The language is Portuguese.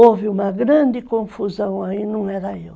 Houve uma grande confusão aí, não era eu.